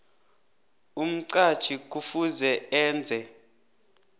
umqatjhi kufuze enze